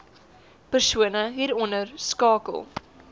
persone hieronder skakel